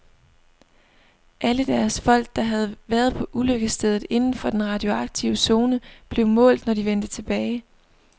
Alle deres folk, der havde været på ulykkesstedet inden for den radioaktive zone, blev målt, når de vendte tilbage.